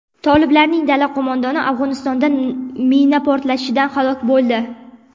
Toliblarning dala qo‘mondoni Afg‘onistonda mina portlashidan halok bo‘ldi.